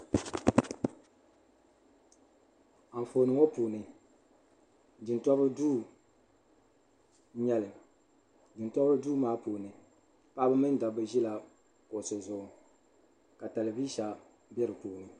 Anfooni ŋɔ puuni jintoriba duu n-nyɛ li jintoriba duu maa puuni paɣiba mini dabba ʒila kuɣusi zuɣu ka talivisa be di puuni.